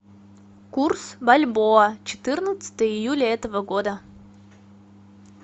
курс бальбоа четырнадцатое июля этого года